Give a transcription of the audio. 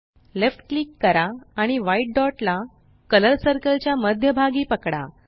left click करा आणि white dot ला कलर सर्कल च्या मध्यभागी पकडा